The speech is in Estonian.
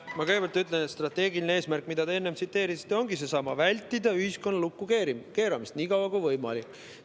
Ma kõigepealt ütlen, et strateegiline eesmärk, mida te enne tsiteerisite, ongi seesama: vältida ühiskonna lukkukeeramist nii kaua kui võimalik.